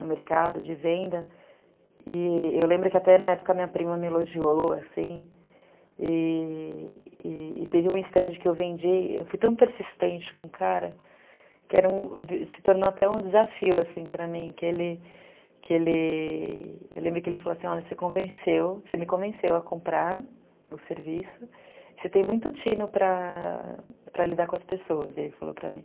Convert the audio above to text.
no mercado de venda e eu lembro que até na época minha prima me elogiou assim e...e... teve um instante que eu vendi, eu fui tão persistente com o cara que era um, se tornou até um desafio assim para mim que ele, que ele.... eu lembro que ele falou assim, olha você convenceu, você me convenceu a comprar o serviço você tem muito tino para para lidar com as pessoas, ele falou para mim